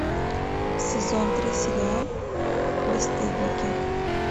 сезон три сериал бесстыдники